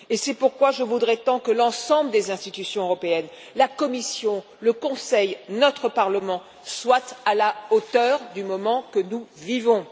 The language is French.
C'est pourquoi je voudrais tant que l'ensemble des institutions européennes la Commission, le Conseil, notre Parlement soient à la hauteur du moment que nous vivons.